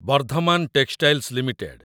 Bardhaman textiles limited